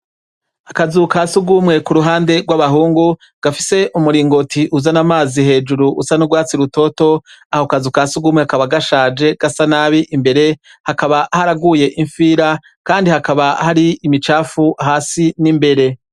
Akazu ka surwumwe k'uruhande rw'abahungu, gafise umuringoti uzana amazi hejuru, usa n'urwatsi rutoto, Ako kazu ka surwumwe kakaba gashaje, gasa nabi imbere, hakaba haraguye ifira, kandi hakaba hari imicafu hasi n'imbere.